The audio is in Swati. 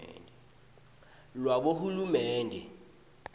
lwabohulumende